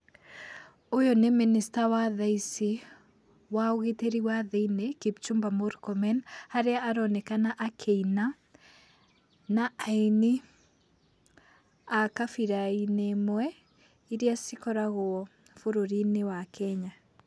Ũyũ nĩ minister wa thaa ici wa ũgitĩri wa thĩini, Kipchumba Murkomen, harĩa aronekana akĩina na aini a kabira-inĩ ĩmwe, iria cikoragwo bũrũrinĩ wa Kenya.